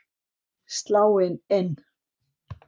Sláin inn,